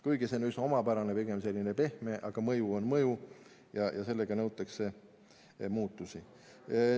Kuigi see on üsna omapärane, pigem selline pehme mõju, aga mõju on mõju ja sellega taotletakse muutusi.